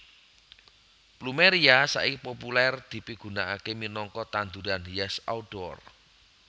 Plumeria saiki populèr dipigunakaké minangka tanduran hias outdoor